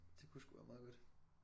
Det kunne sgu være meget godt